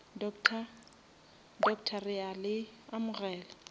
doctor re a le amogela